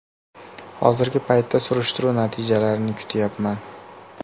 Hozirgi paytda surishtiruv natijalarini kutayapman.